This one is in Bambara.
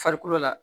Farikolo la